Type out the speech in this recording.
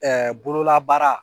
Ɛɛ bololabaara